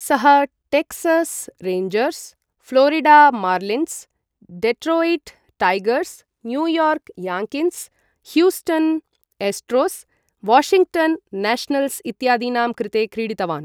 सः Texas Rangers, Florida Marlins, Detroit Tigers, New York Yankees, Houston Astros, Washington Nationals इत्यादीनां कृते क्रीडितवान् ।